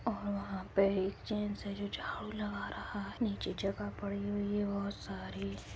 और वहाँ पे एक जेंट्स है जो झाड़ू लगा रहा हैं। नीचे जगह पड़ी हुई है बहोत सारी।